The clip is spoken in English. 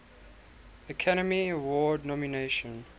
academy award nomination